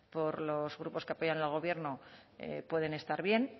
por los grupos que apoyan al gobierno pueden estar bien